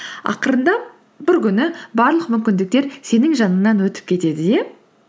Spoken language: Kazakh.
ақырындап бір күні барлық мүмкіндіктер сенің жаныңнан өтіп кетеді иә